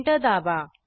enter दाबा